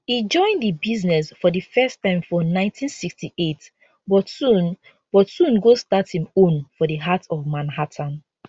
e join di business for di first time for 1968 but soon but soon go start im own for di heart of manhattan